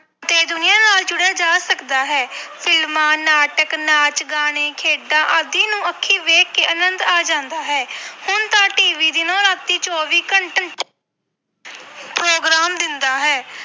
ਤੇ ਦੁਨੀਆਂ ਨਾਲ ਜੁੜਿਆ ਜਾ ਸਕਦਾ ਹੈ ਫਿਲਮਾਂ, ਨਾਟਕ, ਨਾਚ ਗਾਣੇ, ਖੇਡਾਂ ਆਦਿ ਨੂੰ ਅੱਖੀ ਵੇਖ ਕੇ ਆਨੰਦ ਆ ਜਾਂਦਾ ਹੈ ਹੁਣ ਤਾਂ TV ਦਿਨੋਂ ਰਾਤੀ ਚੌਵੀ ਘੰ program ਦਿੰਦਾ ਹੈ।